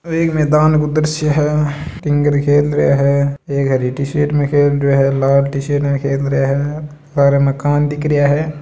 एक मैदान उधर से है एक हरी टी शर्ट में खील रहे है लाल टी शर्ट में खेल रहे है सार मकान दिख रिये है।